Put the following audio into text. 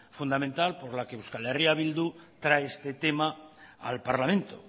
fundamental por la que eh bildu trae este tema al parlamento